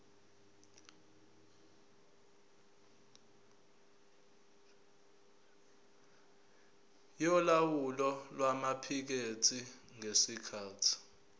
yolawulo lwamaphikethi ngesikhathi